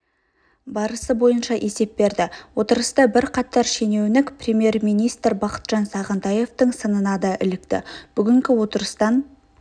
барысы бойынша есеп берді отырыста бірқатар шенеунік премьер-министр бақытжан сағынтаевтың сынына да ілікті бүгінгі отырыстан